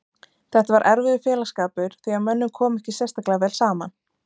Þetta var erfiður félagsskapur því að mönnum kom ekki sérstaklega vel saman.